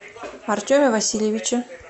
артеме васильевиче